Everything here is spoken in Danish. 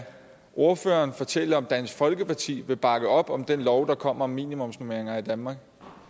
ordføreren fortælle om dansk folkeparti vil bakke op om den lov der kommer om minimumsnormeringer i danmark